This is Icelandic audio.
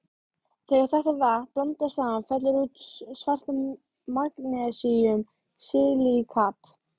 Þegar þetta vatn blandast saman fellur út svart magnesíum-silíkat.